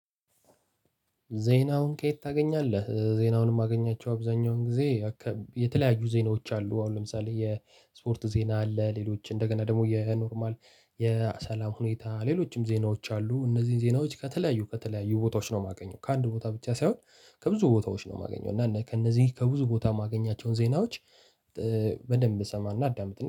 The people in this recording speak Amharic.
ዜናውን ከየት? ታገኛለህ ዜናውን ማገኛቸው አብዛኛውን ጊዜ አካ የተለያዩ ዜናወች አሉ አሁን ለምሳሌ የስፓርት ዜና አለ። ሌሎች እንደገና ደግሞ የኖርማል የሰላም ሁኔታ ሌሎችም ዜናወች አሉ። እነዚህ ዜናወች በተለያዩ ከተለያዩ ቦታወች ነው የማገኘው ከአንድ ቦታ ብቻ ሳይሆን ከብዙ ቦታወች ነው ማገኘው እና ከእነዚህ ከብዙ ቦታ ማግኛቸው ዜናወች። በደንብ እሰማና አዳምጥ